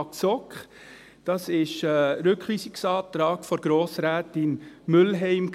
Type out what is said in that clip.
Das war ein Rückweisungsantrag von Grossrätin Mühlheim.